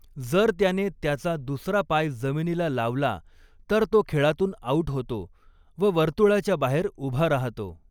जर त्याने त्याचा दुसरा पाय जमीनीला लावला तर तो खेळातून आउट होतो व वर्तुळाच्या बाहेर ऊभा रहातो.